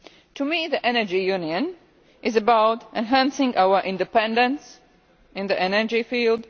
To me, the Energy Union is about enhancing our independence in the energy field.